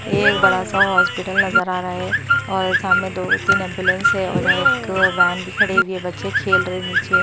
ये एक बड़ा सा हॉस्पिटल नजर आ रहा है और सामने दो तीन एंबुलेंस है और यहाँ एक वैन भी खड़े हुई है बच्चे खेल रहे हैं नीचे--